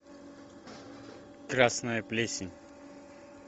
красная плесень